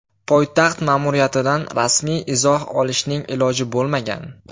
Poytaxt ma’muriyatidan rasmiy izoh olishning iloji bo‘lmagan.